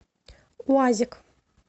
уазик